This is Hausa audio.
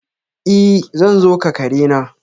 I! zan zo ka kare na.